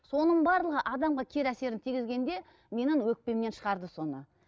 соның барлығы адамға кері әсерін тигізгенде менің өкпемнен шығарды соны